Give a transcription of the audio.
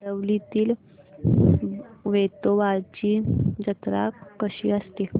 आरवलीतील वेतोबाची जत्रा कशी असते